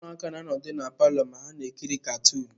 Ụmụaka na-anọdụ ala na palọ ma ha na-ekiri katuunu.